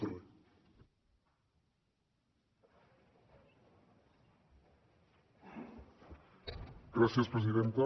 gràcies presidenta